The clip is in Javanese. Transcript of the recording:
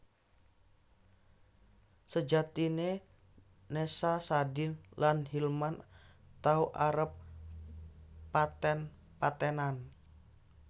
Sejatiné Nessa Sadin lan Hilman tau arep paten patenan